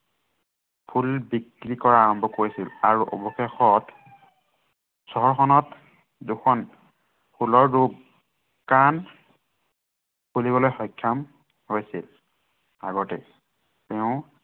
ফুল বিক্ৰী কৰা আৰম্ভ কৰিছিল আৰু অৱশেষত ত দুখন ফুলৰ দোকান খুলিবলৈ সক্ষম হৈছিল। আগতে তেওঁ